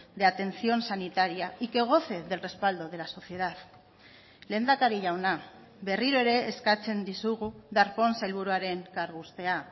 de atención sanitaria y que goce del respaldo de la sociedad lehendakari jauna berriro ere eskatzen dizugu darpón sailburuaren kargu uztea